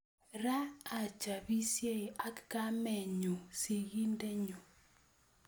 Ra achapisiei ak kamenyu sikindenyu